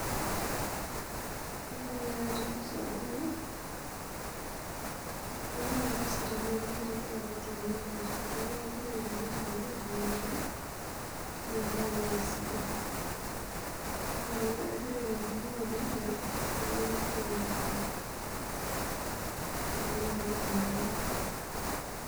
Kaiidim nai atejo sababu naingoru esiai tanaa eremore egira aitau, ebaki na kegira airem petumoki atuunisho, na emabae naai sidai ,kake tanaa kegira arem peingua nejia, namanyor nai ina baa ,inaa nai nanu aidim atejo.